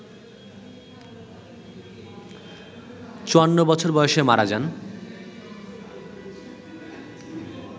৫৪ বছর বয়সে মারা যান